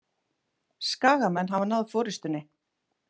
Skagamenn hafa náð forystunni